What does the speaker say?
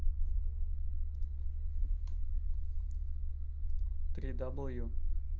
три дабл ю